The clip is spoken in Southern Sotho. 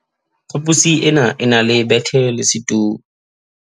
phaposi e ne e na le bethe le setulo